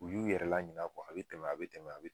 U y'u yɛrɛ la ɲina a bi tɛmɛ a bi tɛmɛ a bi